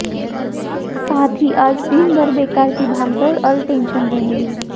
साथ ही आज दिन भर बेकार की भागदौड़ और टेंशन रहेगी